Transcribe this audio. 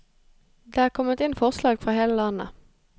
Det er kommet inn forslag fra hele landet.